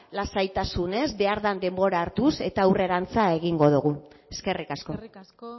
lasaitasunez behar den denbora hartuz eta aurrerantz egingo dugu eskerrik asko eskerrik asko